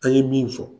An ye min fɔ